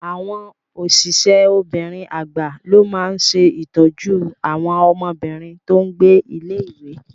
Àwọn osise obìnrin agba ló máa ṣe ìtọ́jú àwọn ọmọbìnrin tó n gbé ilé-ìwé